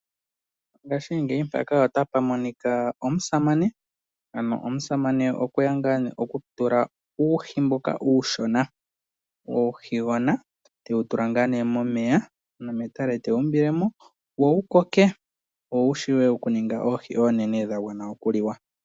Omusamane okwe ya okutula uuhi mboka uushona, uuhigona tewu tula momeya, ano metale tewu umbile mo, wo wu koke wo wu shiwe okuninga oohi oonene dha gwana okuliwa.